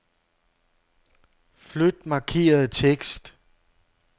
Flyt markerede tekst.